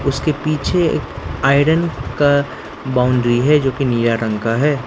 उसके पीछे एक आयरन का बाउंड्री है जो की नीला रंग का है।